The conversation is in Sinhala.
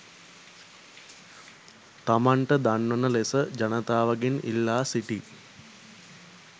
තමන්ට දන්වන ලෙස ජනතාවගෙන් ඉල්ලා සිටියි.